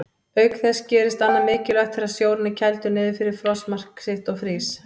Auk þess gerist annað mikilvægt þegar sjórinn er kældur niður fyrir frostmark sitt og frýs.